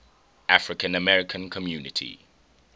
african american community